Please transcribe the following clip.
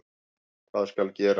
Hvað skal gera?